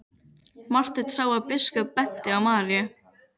Marteinn sá að biskup benti á Maríu.